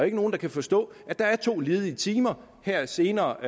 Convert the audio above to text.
ikke nogen der kan forstå at der er to ledige timer her senere